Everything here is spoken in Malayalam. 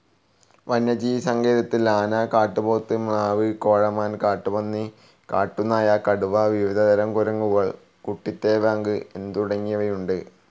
വന്യജീവിസങ്കേതത്തിൽ ആന, കാട്ടുപോത്ത്, മ്ലാവ്, കേഴമാൻ, കാട്ടുപന്നി, കാട്ടുനായ, കടുവ, വിവിധതരം കുരങ്ങുകൾ, കുട്ടിത്തേവാങ്ങ് തുടങ്ങിയവയുണ്ട്.